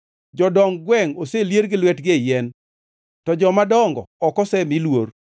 Jodong gwengʼ oselier gi lwetegi e yien, to jomadongo ok osemi luor.